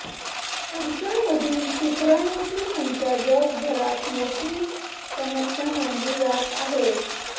पुरूषांमधील शु्क्राणूंची संख्या जगभरात मोठी समस्या मानली जात आहे